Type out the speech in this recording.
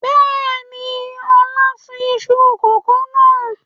Bẹ́ẹ̀ni, Ọlá sun iṣu kòkó náà.